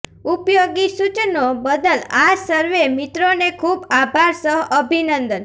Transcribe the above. ઉપયોગી સૂચનો બદલ આ સર્વે મિત્રોને ખૂબ આભાર સહ અભિનંદન